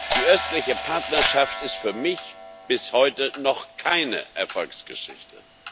Die Östliche Partnerschaft ist für mich bis heute noch keine Erfolgsgeschichte.